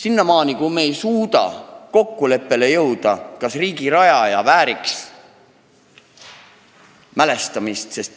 On kahju, kui me ei suuda kokkuleppele jõuda, kas riigi rajaja väärib mälestamist.